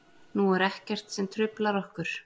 Nú er ekkert sem truflar okkur.